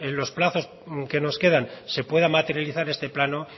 los plazos que nos quedan se pueda materializar este plano